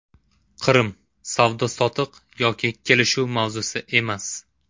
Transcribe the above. Qrim savdo-sotiq yoki kelishuv mavzusi emas.